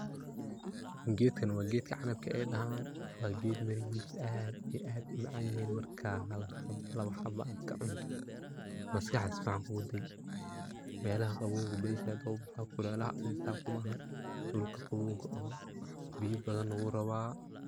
Gedkan waa gedka canabka ay dahan, waa ged mirihisa aad iyo aad u macan yihin marka hal ama laba haba aad ka cunto maskaxda si fican kugu dagi. Melaha qabowga ayu badhi zaid oga baxa kulelaha adhi saa kuma aha dhulka qabowga oo biyaa badan na wuu rabaa.